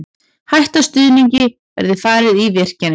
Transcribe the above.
Hætta stuðningi verði farið í virkjanir